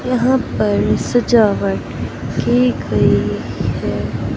यहां पर सजावट की गई है।